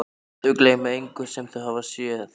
Þau gleyma engu sem þau hafa séð.